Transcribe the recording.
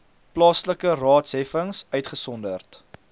plaaslike raadsheffings uitgesonderd